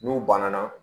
N'u banana